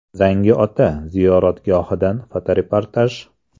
“Zangiota” ziyoratgohidan fotoreportaj.